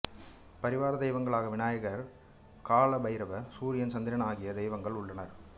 பரிவார தெய்வங்களாக விநாயகர் காலபைரவர் சூரியன் சந்திரன் ஆகிய தெய்வங்கள் உள்ளனர்